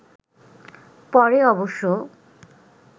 পরে অবশ্য